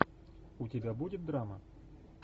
у тебя будет драма